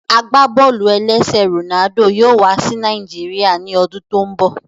Agbábọ́ọlù-ẹlẹ́sẹ̀ Ronaldo yóò wá sí Nàìjíríà ní ọdún tó n bọ